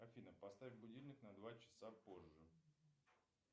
афина поставь будильник на два часа позже